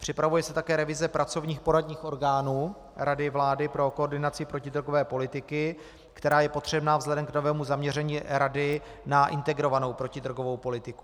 Připravuje se také revize pracovních poradních orgánů Rady vlády pro koordinaci protidrogové politiky, která je potřebná vzhledem k novému zaměření rady na integrovanou protidrogovou politiku.